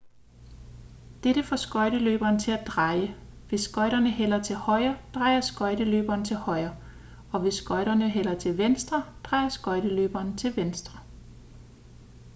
dette får skøjteløberen til at dreje hvis skøjterne hælder til højre drejer skøjteløberen til højre og hvis skøjterne hælder til venstre drejer skøjteløberen til venstre